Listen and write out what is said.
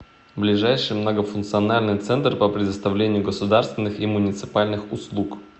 ближайший многофункциональный центр по предоставлению государственных и муниципальных услуг